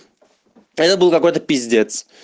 это был какой-то пиздец